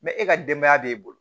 e ka denbaya b'e bolo